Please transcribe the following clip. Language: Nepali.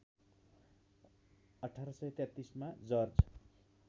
१८३३ मा जर्ज